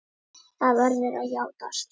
Það verður að játast.